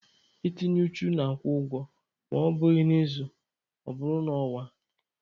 Itinye uchu na-akwụ ụgwọ ma ọ bụghị n'izu, ọ bụrụ n'ọnwa.